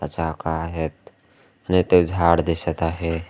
चाकं आहेत आणि ते झाड दिसत आहे.